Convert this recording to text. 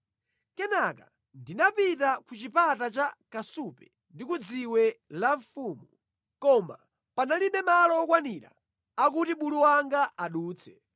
Kenaka ndinapita ku Chipata cha Kasupe ndi ku Dziwe la Mfumu. Koma panalibe malo okwanira akuti bulu wanga adutse.